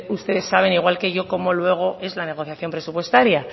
ustedes saben igual que yo cómo luego es la negociación presupuestaria